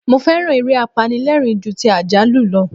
Mo féràn eré apanilẹ́rìń ju ti àjálù lọ.